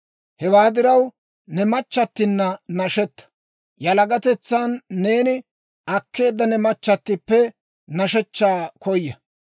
Hewaa diraw ne machchattina nashetta; yalagatetsan neeni akkeedda ne machchatippe nashechchaa koya.